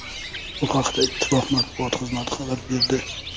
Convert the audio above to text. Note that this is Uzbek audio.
Bu haqda Ittifoq matbuot xizmati xabar berdi .